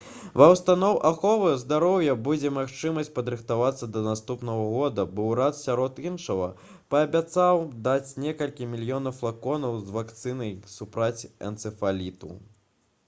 ва ўстаноў аховы здароўя будзе магчымасць падрыхтавацца да наступнага года бо ўрад сярод іншага паабяцаў даць некалькі мільёнаў флаконаў з вакцынай супраць энцэфаліту